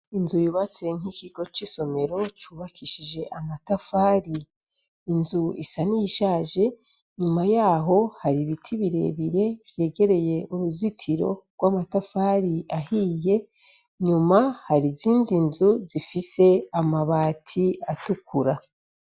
Inzu yubatse mukigo cisomero yubakishije amatafari inzu isa niyishaje nyuma yaho hari ibiti birebire vyegereye uruzitiro rwamatafari ahiye nyuma hari izindi nzu zifise amabati atukura